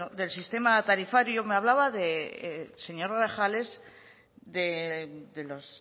del sistema tarifario me hablaba el señor grajales de los